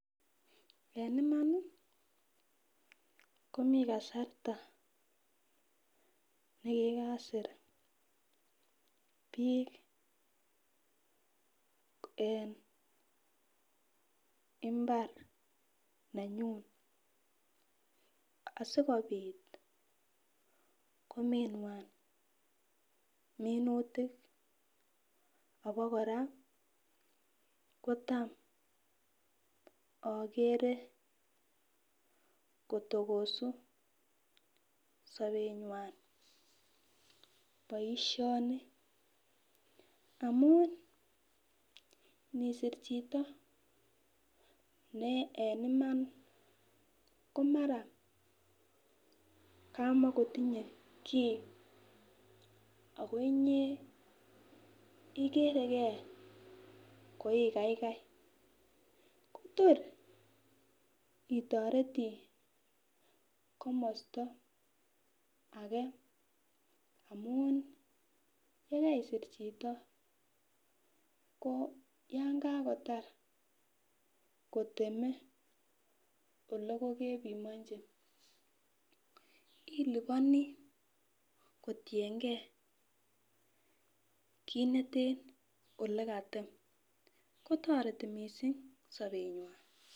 En imani komii kasarta nekikasir bik en imbar nenyun asikopit kominywan minutik abakora kotam okere kotokosu sobenywan boishoni amun nisir chito ne en Iman komara komokokonye kii ako inyee ikeregee ko igaigai Kotor itoreti komosto age amun yekeisir chito ko yon kakotar kiteme ole kokepimonchi iliponi kotiyengee kit neten olekatem kotoreti missing sobenywan.